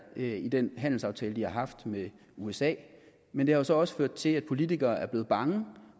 i den handelsaftale de har haft med usa men det har så også ført til at politikere er blevet bange